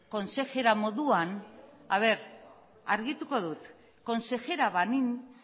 kontsejera moduan argituko dut konsejera banintz